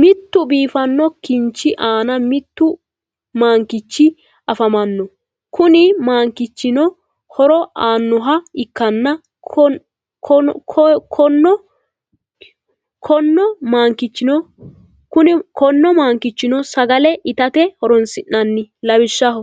mittu biifanno kinchi aanna mittu mankichi afamano kunni maankichi horo aanoha ikanna konno maankichono sagalle itate horonsi'nanni lawishshaho